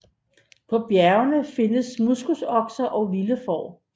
På bjergene findes moskusokser og vilde får